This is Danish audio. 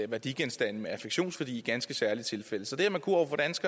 værdigenstande med affektionsværdi i ganske særlige tilfælde så det